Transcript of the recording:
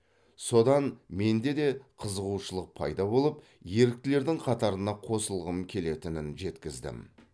содан менде де қызығушылық пайда болып еріктілердің қатарына қосылғым келетінін жеткіздім